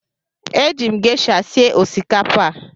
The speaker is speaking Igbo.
Eji m gesha sie osikapa a.